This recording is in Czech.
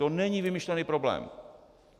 To není vymyšlený problém.